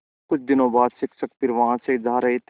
कुछ दिनों बाद शिक्षक फिर वहाँ से जा रहे थे